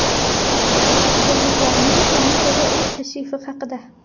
Yerliklarning kometaga ilk tashrifi haqida.